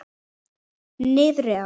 Niðri á